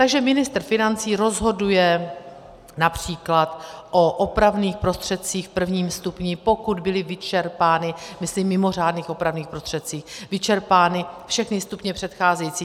Takže ministr financí rozhoduje například o opravných prostředcích v prvním stupni, pokud byly vyčerpány - myslím mimořádných opravných prostředcích - vyčerpány všechny stupně předcházející.